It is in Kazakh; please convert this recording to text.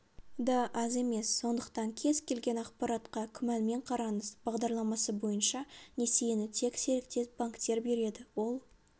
да аз емес сондықтан кез-келген ақпаратқа күмәнмен қараңыз бағдарламасы бойынша несиені тек серіктес-банктер береді ол